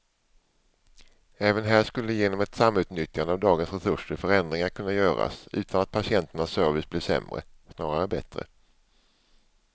Även här skulle genom ett samutnyttjande av dagens resurser förändringar kunna göras utan att patienternas service blev sämre, snarare bättre.